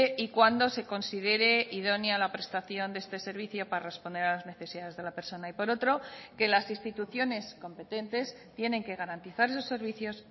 y cuando se considere idónea la prestación de este servicio para responder a las necesidades de la persona y por otro que las instituciones competentes tienen que garantizar esos servicios